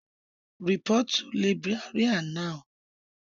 Report to Librarian Now